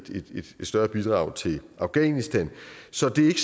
større bidrag til afghanistan så det er